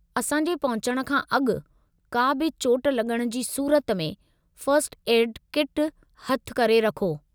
असां जे पहुचण खां अॻु का बि चोटु लग॒णु जी सूरत में फ़र्स्ट एड किट हथ करे रखो।